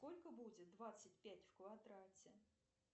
сколько будет двадцать пять в квадрате